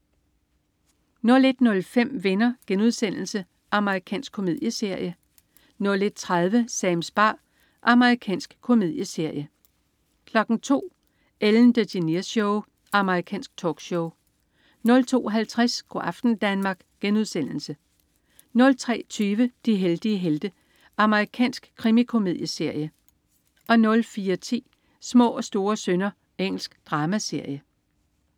01.05 Venner.* Amerikansk komedieserie 01.30 Sams bar. Amerikansk komedieserie 02.00 Ellen DeGeneres Show. Amerikansk talkshow 02.50 Go' aften Danmark* 03.20 De heldige helte. Amerikansk krimikomedieserie 04.10 Små og store synder. Engelsk dramaserie